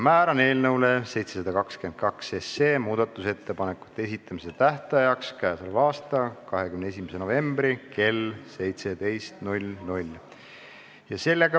Määran eelnõu 722 muudatusettepanekute esitamise tähtajaks k.a 21. novembri kell 17.